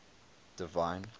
divine